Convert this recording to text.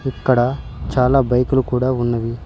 ఇక్కడ చాలా బైకులు కూడా ఉన్నవి.